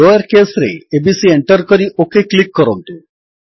lower case ରେ ABC enter କରି OK click କରନ୍ତୁ